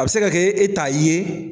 A bɛ se ka kɛ e' ta ye.